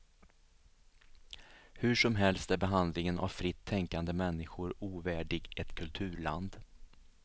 Hur som helst är behandlingen av fritt tänkande människor ovärdig ett kulturland.